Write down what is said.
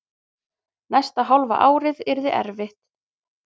Næsta hálfa ár yrði erfitt.